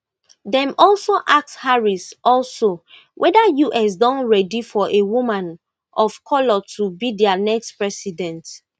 dem also ask harris also whether us don ready for a woman of colour to be dia next president